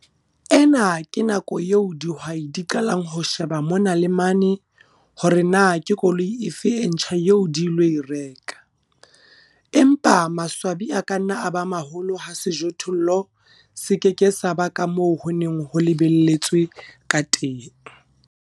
Ena ke nako eo dihwai di qalang ho sheba mona le mane hore na ke koloi efe e ntjha eo di ilo e reka, empa maswabi a ka nna a ba maholo ha sejothollo se ke ke sa ba ka moo ho neng ho lebelletswe ka teng.